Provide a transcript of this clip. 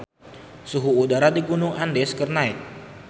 Suhu udara di Gunung Andes keur naek